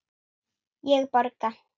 Ég borga!